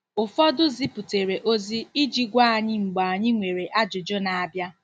Ụfọdụ ziputere ozi iji gwa anyị mgbe anyị nwere ajụjụ na-abịa.